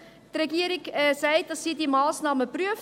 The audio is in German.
Die Regierung sagt, dass sie diese Massnahmen prüft.